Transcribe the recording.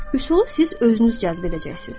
Üsulu siz özünüz cəzb edəcəksiz.